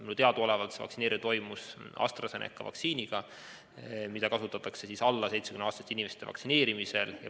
Mulle teadaolevalt vaktsineeriti teda AstraZeneca vaktsiiniga, mida kasutatakse alla 70-aastaste inimeste vaktsineerimiseks.